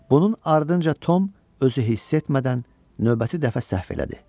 Bunun ardınca Tom özü hiss etmədən növbəti dəfə səhv elədi.